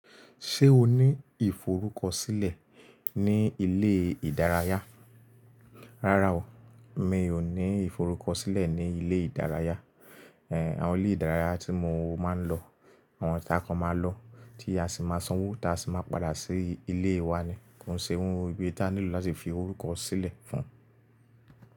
Ṣé o ní ìforúkọsílẹ̀ ní ilé ìdárayá? Rárá o, mi ò ní ìforúkọsílẹ̀ ní ilé ìdárayá. Èh, àwọn ilé ìdárayá tí mo máa ń lọ, àwọn ta kan máa lọ tí a sì máa sanwó tá sì máa padà sí ilé wa ni. Kò sí ohun ibi tá nílò láti fi forúkọ sílẹ̀ fún un.